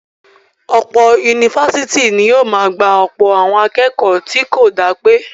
Ọ̀pọ̀ ifásitì ni yóò máa gba ọ̀pọ̀ àwọn akẹ́kọ̀ọ́ tó kò dá pé